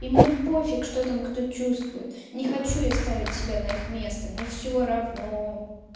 и мне пофиг что там кто чувствует не хочу я ставить себя на их место мне всё равно